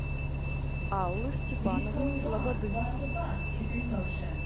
аллы степановны лободы